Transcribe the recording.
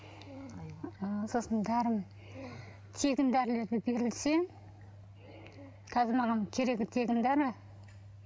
ы сосын дәрім тегін дәрілер берілсе қазір маған керегі тегін дәрі